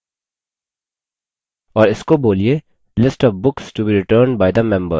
और इसको बोलिए list of books to be returned by the member